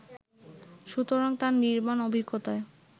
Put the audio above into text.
সুতরাং তার নির্মাণ অভিজ্ঞতায়